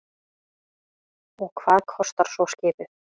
Og hvað kostar svo skipið?